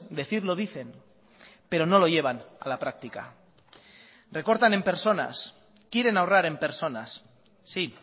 decir lo dicen pero no lo llevan a la práctica recortan en personas quieren ahorrar en personas sí